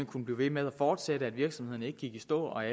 kunne blive ved med at fortsætte at virksomhederne ikke gik i stå at